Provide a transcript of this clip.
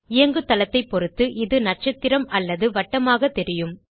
இயங்குதளத்தைப் பொருத்து இது நட்சத்திரம் அல்லது வட்டமாக தெரியும்